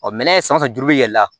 Ɔ minɛn sanfɛ ju bɛ yɛlɛ